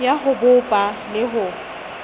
ya ho bopa le ho